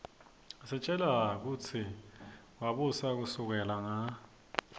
isitjela kutsi wabusa kusukela nga